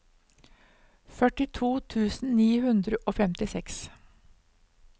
førtito tusen ni hundre og femtiseks